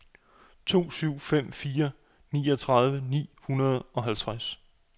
to syv fem fire niogtredive ni hundrede og halvtreds